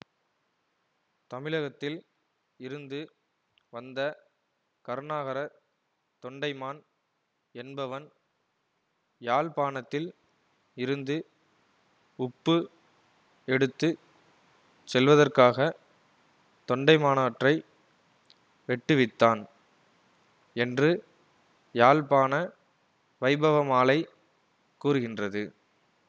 தமிழகத்தில் இருந்து வந்த கருணாகரத் தொண்டைமான் என்பவன் யாழ்ப்பாணத்தில் இருந்து உப்பு எடுத்து செல்வதற்காகத் தொண்டைமானாற்றை வெட்டுவித்தான் என்று யாழ்ப்பாண வைபவமாலை கூறுகின்றது